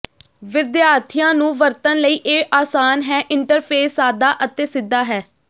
ਵਿਦਿਆਰਥੀਆਂ ਨੂੰ ਵਰਤਣ ਲਈ ਇਹ ਆਸਾਨ ਹੈ ਇੰਟਰਫੇਸ ਸਾਦਾ ਅਤੇ ਸਿੱਧਾ ਹੈ